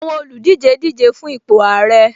Àwọn olùdíje díje fun ipò ààrẹ